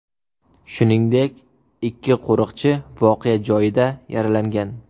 Shuningdek, ikki qo‘riqchi voqea joyida yaralangan.